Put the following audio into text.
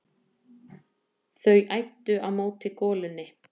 Þau æddu á móti golunni.